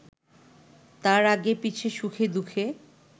তাঁর আগে-পিছে, সুখে-দুঃখে